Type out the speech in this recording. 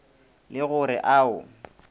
le go re a o